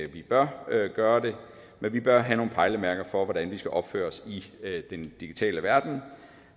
vi bør gøre det men vi bør have nogle pejlemærker for hvordan vi skal opføre os i den digitale verden